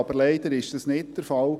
Aber leider war dies nicht der Fall.